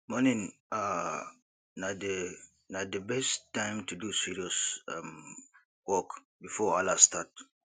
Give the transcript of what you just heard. morning um na the na the best time to do serious um work before wahala start